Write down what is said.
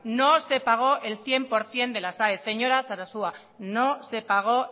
no se pagó el cien por ciento de las aes señora sarasua no se pagó